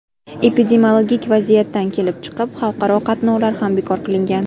Epidemiologik vaziyatdan kelib chiqib, xalqaro qatnovlar ham bekor qilingan.